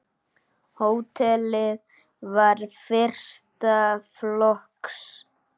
Hótelið var fyrsta flokks.